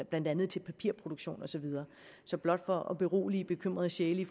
blandt andet til papirproduktion og så videre blot for at berolige bekymrede sjæle